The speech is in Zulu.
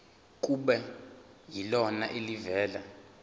kube yilona elivela